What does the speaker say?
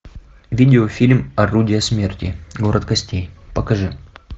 видеофильм орудия смерти город костей покажи